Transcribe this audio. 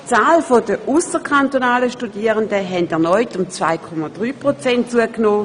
Die Zahl der ausserkantonalen Studierenden hat erneut um 2,3 Prozent zugenommen.